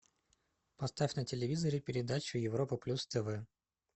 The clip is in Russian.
поставь на телевизоре передачу европа плюс тв